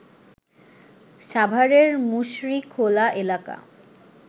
সাভারের মুশরীখোলা এলাকা